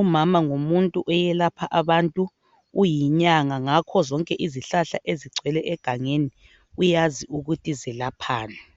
Umama ngumuntu oyelapha abantu uyinyanga ngakho zonke izihlahla ezigcwele egangeni uyazi ukuthi zelaphani